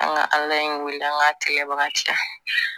An ka ala in wele an ka kɛlɛbaga cɛ